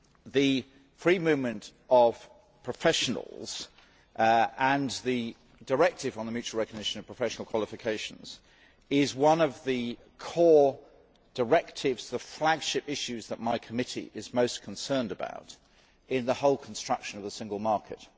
The free movement of professionals and the Directive on the mutual recognition of professional qualifications are among the flagship issues that my committee is most concerned about in the whole construction of the single market.